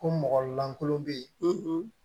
Ko mɔgɔ lankolon bɛ yen